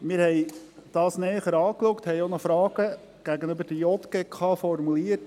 Wir haben es näher angeschaut und haben auch noch Fragen an die JGK formuliert.